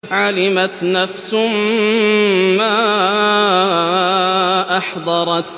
عَلِمَتْ نَفْسٌ مَّا أَحْضَرَتْ